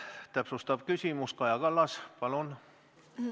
Täpsustav küsimus, Kaja Kallas, palun!